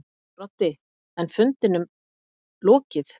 Broddi: En fundinum lokið.